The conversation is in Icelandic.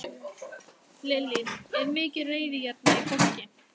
Lillý: Er mikil reiði hérna í fólki?